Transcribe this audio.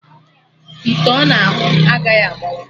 Ite ọna ahụ agaghị agbawa